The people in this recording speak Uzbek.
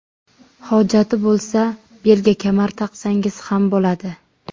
Hojati bo‘lsa, belga kamar taqsangiz ham bo‘ladi.